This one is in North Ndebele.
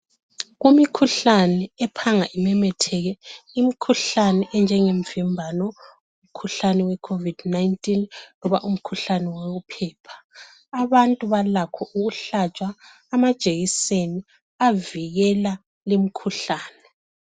Kumikhuhlane ephanga imemetheke , imkhuhlane enjengemvimbano , umkhuhlane we covid 19 loba umkhuhlane wophepha , abantu balakho ukuhlatshwa amajekiseni avikela limkhuhlane